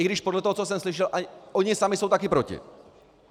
I když podle toho, co jsem slyšel, oni sami jsou také proti.